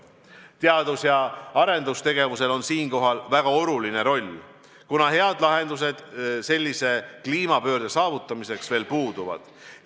Teadus- ja arendustegevusel on siinkohal väga suur roll, kuna head lahendused sellise kliimapöörde saavutamiseks veel puuduvad.